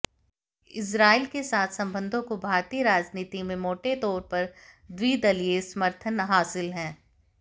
इ्स्राइल के साथ संबंधों को भारतीय राजनीति में मोटे तौर पर द्विदलीय समर्थन हासिल है